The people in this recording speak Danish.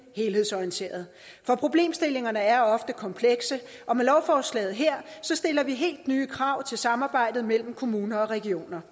helhedsorienteret for problemstillingerne er ofte komplekse og med lovforslaget her stiller vi helt nye krav til samarbejdet mellem kommuner og regioner